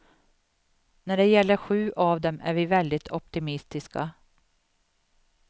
När det gäller sju av dem är vi väldigt optimistiska.